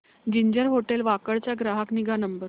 ginger hotel Wakad चा ग्राहक निगा नंबर